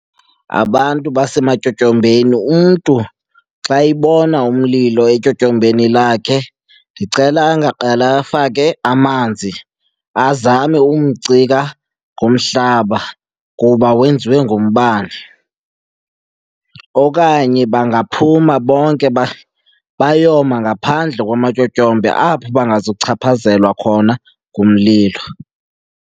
Abantu basematyotyombeni umntu xa ebona umlilo etyotyombeni lakhe ndicela angaqale afake amanzi, azame umcika ngomhlaba kuba wenziwe ngumbane. Okanye bangaphuma bonke bayoma ngaphandle kwamatyotyombe apho bangazuchaphazelwa khona ngumlilo.